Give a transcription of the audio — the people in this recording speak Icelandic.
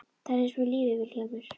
Það er eins með lífið Vilhjálmur.